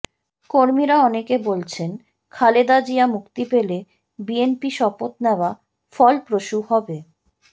কর্মীরা অনেকে বলছেন খালেদা জিয়া মুক্তি পেলে বিএনপি শপথ নেয়া ফলপ্রসূ হবে